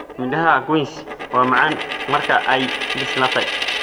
Midhaha quince waa macaan marka ay bislaatay.